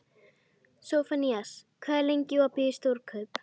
Sophanías, hvað er lengi opið í Stórkaup?